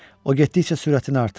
O getdikcə sürətini artırırdı.